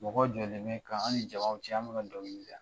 Mɔgɔ jɔlen bɛ kan an ni jama cɛ an bɛ ka dɔnkili da